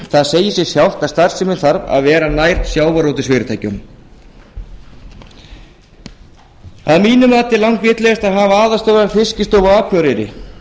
sjávarútvegsfyrirtæki það segir sig sjálft að starfsemin þarf að vera nær sjávarútvegsfyrirtækjunum að mínu mati er langvitlegast að hafa aðalstöðvar fiskistofu á akureyri